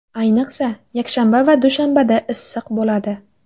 Ayniqsa, yakshanba va dushanbada issiq bo‘ladi.